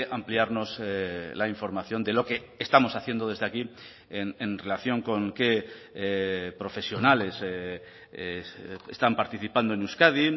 ampliarnos la información de lo que estamos haciendo desde aquí en relación con qué profesionales están participando en euskadi